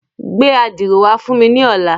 Gbẹ ạdiro wa fun mi ni ọla.